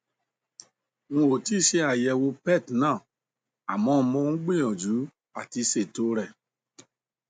n ò tí ì ṣe àyẹwò pet ná àmọ mò ń gbìyànjú àti ṣètò o rẹ